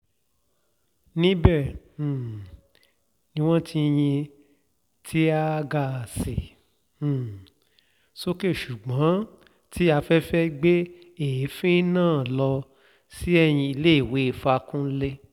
níbẹ̀ um ni wọ́n ti yin tíà-gaàsì um sókè ṣùgbọ́n tí afẹ́fẹ́ gbé èéfín náà lọ sínú iléèwé fakúnlé